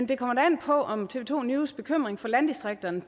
det kom an på om tv to news bekymring for landdistrikterne